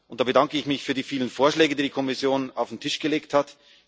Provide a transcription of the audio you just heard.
Da bedanke ich mich für die vielen Vorschläge, die die Kommission auf den Tisch gelegt hat.